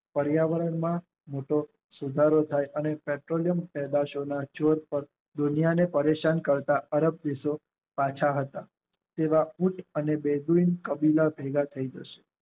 પર્યાવરણમાં મોટો સુધારો થઈ અને દુનિયાને પરેશાન કરતા રબ દેશો પાછા હતા જેવા ઉંટ અને દેવીં કાબિલબે ભેગા થઈ જશે